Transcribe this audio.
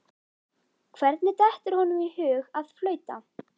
Hvernig dettur honum í hug að flauta?